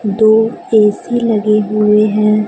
दो ए_सी लगे हुए हैं।